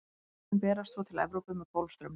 seiðin berast svo til evrópu með golfstraumnum